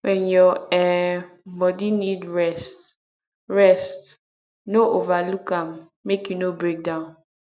when your um body need rest rest no overlook am make you no breakdown